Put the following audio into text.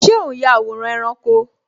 Ṣé o n ya àwòrán ẹranko?